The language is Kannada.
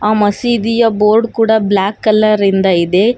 ಆ ಮಸೀದಿಯ ಬೋರ್ಡ್ ಕೂಡ ಬ್ಲಾಕ್ ಕಲರ್ ಇಂದ ಇದೆ.